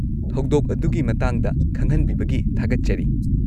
ꯊꯧꯗꯣꯛ ꯑꯗꯨꯒꯤ ꯃꯇꯥꯡꯗ ꯈꯪꯍꯟꯕꯤꯕꯒꯤ ꯊꯥꯒꯠꯆꯔꯤ꯫